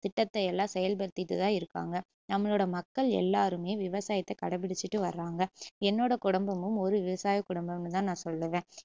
திட்டத்தையெல்லம் செயல்படுத்திட்டுதான் இருகாங்க நம்மளோட மக்கள் எல்லாருமே விவசாயத்த கடைபிடிச்சுட்டு வர்றாங்க என்னோட குடும்பமும் ஒரு விவசாய குடும்பம்னு தான் நான் சொல்லுவேன்